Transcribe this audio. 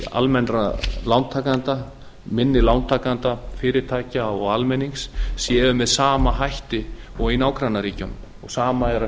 almennra lántakenda minni lántakenda fyrirtækja og almennings séu með sama hætti og í nágrannaríkjunum sama er að